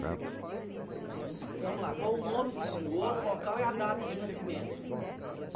Né mas vamos lá, qual o nome do senhor, o local e a data de nascimento?